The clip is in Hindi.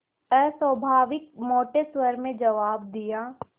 अस्वाभाविक मोटे स्वर में जवाब दिया